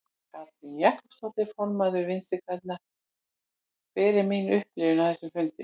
Katrín Jakobsdóttir, formaður Vinstri grænna: Hver er mín upplifun af þessum fundi?